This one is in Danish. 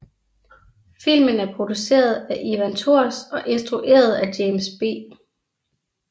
Filmen er produceret af Ivan Tors og instrueret af James B